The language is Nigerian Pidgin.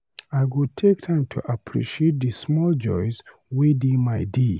I go take time to appreciate the small joys wey dey my day.